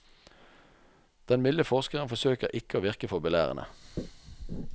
Den milde forskeren forsøker å ikke virke for belærende.